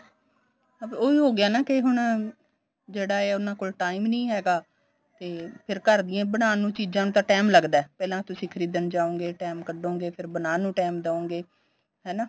ਉਹੀ ਹੋ ਗਿਆ ਨਾ ਕੇ ਹੁਣ ਜਿਹੜਾ ਏ ਉਨ੍ਹਾਂ ਕੋਲ time ਨੀਂ ਹੈਗਾ ਤੇ ਫੇਰ ਘਰ ਦੀ ਬਣਾਨ ਨੂੰ ਚੀਜ਼ਾਂ ਨੂੰ ਤਾਂ time ਲਗਦਾ ਪਹਿਲਾਂ ਤੁਸੀਂ ਖਰੀਦਣ ਜਾਉਗੇ time ਕਡੋਗੇ ਫੇਰ ਬਣਾਨ ਨੂੰ time ਦਉਗੇ ਹਨਾ